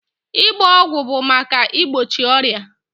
Ịgba ọgwụ bụ maka igbochi ọrịa.